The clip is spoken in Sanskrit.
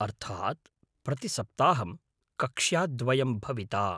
अर्थात्, प्रतिसप्ताहं कक्ष्याद्वयं भविता।